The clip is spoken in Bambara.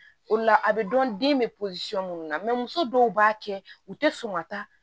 O la a bɛ dɔn den bɛ minnu na muso dɔw b'a kɛ u tɛ sɔn ka taa